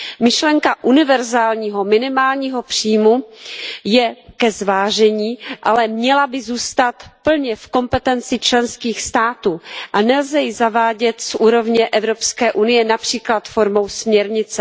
Myšlenka univerzálního minimálního příjmu je ke zvážení, ale měla by zůstat plně v kompetenci členských států a nelze ji zavádět z úrovně Evropské unie, například formou směrnice.